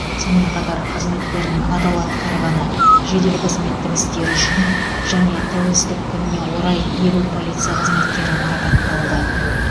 сонымен қатар қызметтерін адал атқарғаны жедел қызметтік істері үшін және тәуелсіздік күніне орай елу полиция қызметкері марапатталды